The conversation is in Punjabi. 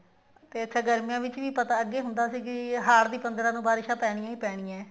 ਤੇ ਅੱਚਾ ਗਰਮੀਆਂ ਵਿੱਚ ਵੀ ਅੱਗੇ ਹੁੰਦਾ ਸੀ ਵੀ ਹਾੜ੍ਹ ਦੀ ਪੰਦਰਾਂ ਨੂੰ ਬਾਰਿਸ਼ ਪੈਣੀਆਂ ਹੀ ਪੈਣੀਆਂ